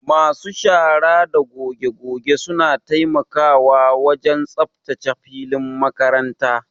Masu shara da goge goge suna taimakawa wajen tsaftace filin makaranta.